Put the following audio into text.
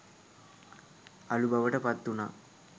අළු බවට පත් වුණා.